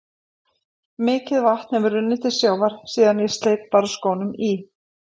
Mikið vatn hefur runnið til sjávar síðan ég sleit barnsskónum í